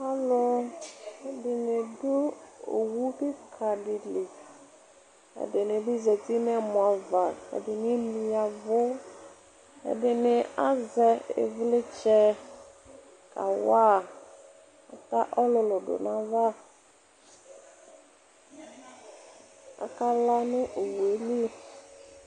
alò ɛdini du owu keka di li ɛdini bi zati n'ɛmɔ ava ɛdini emli ya vu ɛdini azɛ ivlitsɛ ka wa ata ɔlòlò do n'ava k'aka la no owue li.